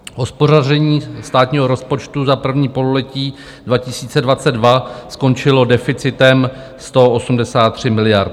Hospodaření státního rozpočtu za první pololetí 2022 skončilo deficitem 183 miliard.